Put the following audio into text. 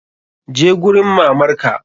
Je gurin mamar ka!